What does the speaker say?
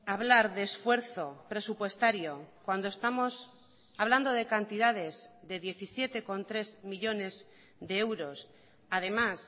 hablar de esfuerzo presupuestario cuando estamos hablando de cantidades de diecisiete coma tres millónes de euros además